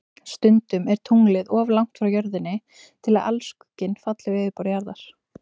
Stundum er tunglið of langt frá Jörðinni til að alskugginn falli á yfirborð Jarðar.